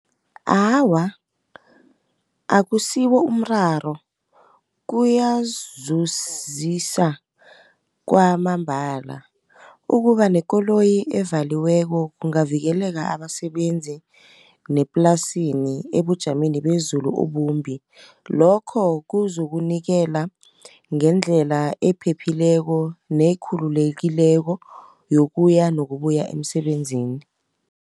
Awa akusibo umraro kuyazuzisa kwamambala. ukuba nekoloyi evaliweko kungavikeleka abasebenzi neplasini ebujameni bezulu obumbi. Lokho kuzukunikela ngendlela ephephileko nekhululekileko yokuya nokubuya emsebenzini.